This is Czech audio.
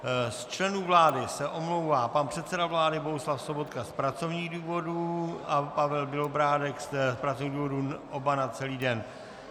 Z členů vlády se omlouvá: pan předseda vlády Bohuslav Sobotka z pracovních důvodů a Pavel Bělobrádek z pracovních důvodů - oba na celý den.